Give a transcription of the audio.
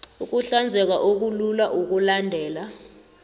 ukuhlanzeka okulula okulandelako